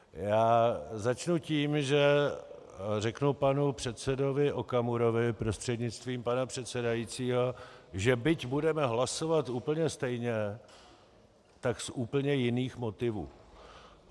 Já začnu tím, že řeknu panu předsedovi Okamurovi prostřednictvím pana předsedajícího, že byť budeme hlasovat úplně stejně, tak z úplně jiných motivů.